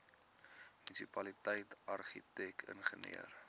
munisipaliteit argitek ingenieur